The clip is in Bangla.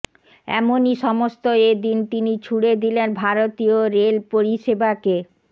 এমনই সমস্ত এদিন তিনি ছুঁড়ে দিলেন ভারতীয় রেল পরিষেবাকে